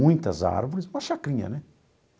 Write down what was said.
muitas árvores, uma chacrinha, né?